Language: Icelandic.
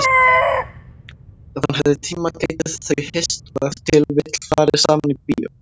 Ef hann hefði tíma gætu þau hist og ef til vill farið saman í bíó.